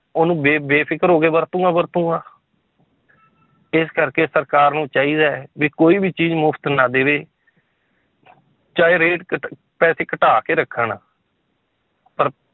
ਉਹਨੂੰ ਬੇ~ ਬੇਫ਼ਿਕਰ ਹੋ ਕੇ ਵਰਤੂੰਗਾ ਵਰਤੂੰਗਾ ਇਸ ਕਰਕੇ ਸਰਕਾਰ ਨੂੰ ਚਾਹੀਦਾ ਹੈ ਵੀ ਕੋਈ ਵੀ ਚੀਜ਼ ਮੁਫ਼ਤ ਨਾ ਦੇਵੇ ਚਾਹੇ rate ਘੱਟ ਪੈਸੇ ਘਟਾ ਕੇ ਰੱਖਣ ਪਰ